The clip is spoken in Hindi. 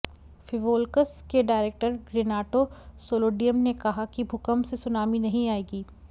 फिवोल्कस के डायरेक्टर रेनाटो सोलिडियम ने कहा कि भूकंप से सुनामी नहीं आएगी